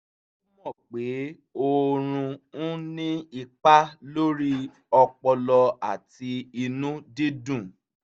ó mọ pé oorun ń ní ipa lórí ọpọlọ àti inú dídùn